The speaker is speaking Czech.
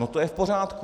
No to je v pořádku.